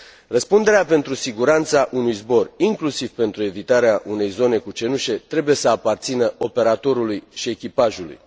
Răspunderea pentru siguranța unui zbor, inclusiv pentru evitarea unei zone cu cenușă trebuie să aparțină operatorului și echipajului.